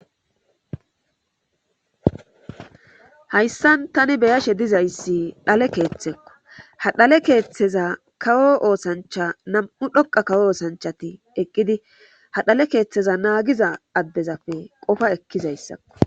Hayssan tani beyashe dizayssi dhale keeththekko ha dhale keeththeza kawo oosancha nam7u dhoqa kawo oosanchati eqqidi ha dhale keeththeza naagiza addezape qofa ekkizayssakko.